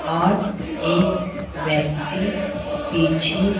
और एक व्यक्ति पीछे--